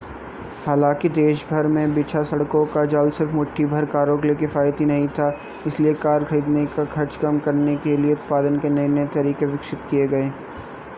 हालांकि देशभर में बिछा सड़कों का जाल सिर्फ़ मुट्ठीभर कारों के लिए किफ़ायती नहीं था इसलिए कार खरीदने का खर्च कम करने क लिए उत्पादन के नए-नए तरीके विकसित किए गए